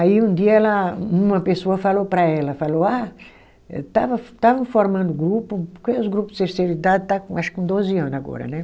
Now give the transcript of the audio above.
Aí, um dia ela, uma pessoa falou para ela, falou, ah, eu estava estava formando grupo, porque os grupo de terceira idade está com acho que com doze anos agora, né?